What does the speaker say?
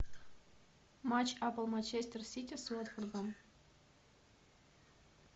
матч апл манчестер сити с уотфордом